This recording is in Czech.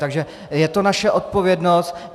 Takže je to naše odpovědnost.